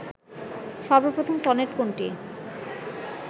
সর্বপ্রথম সনেট কোনটি